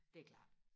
det er klart